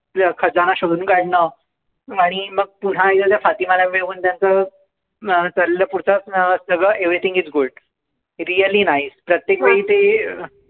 खजाना शोधून काढणं, आणि मग पुन्हा एकदा त्या फातिमाला evevrything is good. Really nice. प्रत्येक वेळी ते